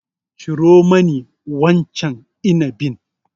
Ciro mani wancan inabin.